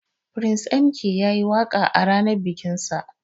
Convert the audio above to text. Prince M.K yayi waka a ranan bikin sa.